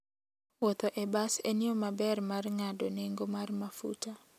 Wuotho e bas en yo maber mar ng'ado nengo mar mafuta.